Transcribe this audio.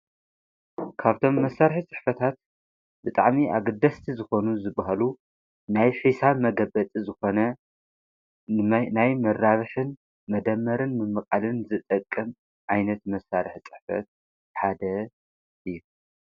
ካብቶም መሣርሒ ጽሕፈታት ብጣዕሚ ኣግደስቲ ዝኾኑ ዝበሃሉ ናይ ሒሳብ መገበጥ ዝኾነ ናይ መራብሕን መደመርን ምመቓልን ዘጠቅም ኣይነት መሣርሕ ጽሕፈት ሓደ እዩ።